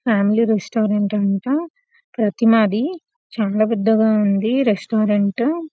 Family restaurant అంట ప్రతి మాది చాలా పెద్దగా ఉంది రెస్టారెంట్ .